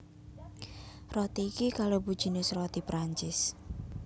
Roti iki kalebu jinis roti Prancis